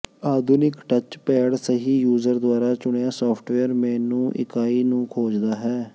ਆਧੁਨਿਕ touch pad ਸਹੀ user ਦੁਆਰਾ ਚੁਣਿਆ ਸਾਫਟਵੇਅਰ ਮੇਨੂ ਇਕਾਈ ਨੂੰ ਖੋਜਦਾ ਹੈ